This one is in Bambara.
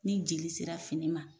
Ni jeli sera fini ma.